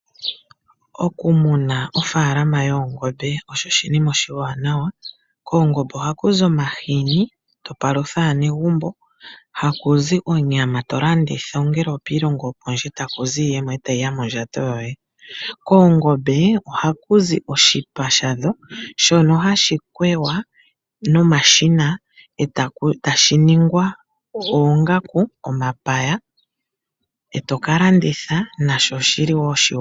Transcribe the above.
Okumuna ofaalama yoongombe osho oshinima oshiwa nawa, koongombe oha kuzi omahani to palutha aanegumbo, hakuzi onyama tolanditha ongele okiilongo yopondje takuzi yimwe tayiya mondjato yoye. Koongombe oha kuzi oshipa sha dho shono hashi kwewa nomashina eta shiningwa oongaku, omapaya eto kalanditha nasho shili woo oshiwanawa.